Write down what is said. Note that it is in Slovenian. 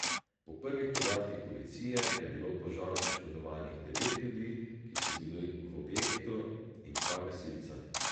Po prvih podatkih policije je bilo v požaru poškodovanih devet ljudi, ki so bili v objektu, in dva gasilca.